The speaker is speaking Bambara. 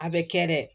A bɛ kɛ dɛ